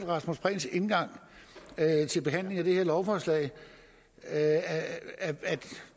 rasmus prehns indgang til behandlingen af det her lovforslag at